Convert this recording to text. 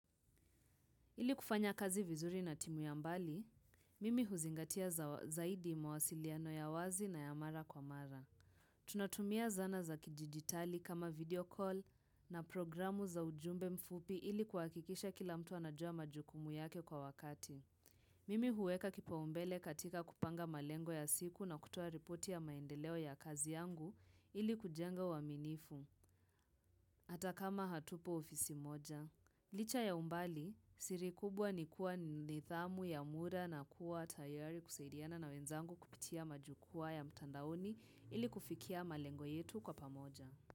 Ili kufanya kazi vizuri na timu ya mbali, mimi huzingatia zaidi mawasiliano ya wazi na ya mara kwa mara. Tunatumia zana za kidijitali kama video call na programu za ujumbe mfupi ili kuhakikisha kila mtu anajua majukumu yake kwa wakati. Mimi huweka kipaumbele katika kupanga malengo ya siku na kutoa ripoti ya maendeleo ya kazi yangu ili kujenga uaminifu. Hata kama hatupo ofisi moja. Licha ya umbali siri kubwa ni kuwa nidhamu ya muda na kuwa tayari kusaidiana na wenzangu kupitia majukwaa ya mtandaoni ili kufikia malengo yetu kwa pamoja.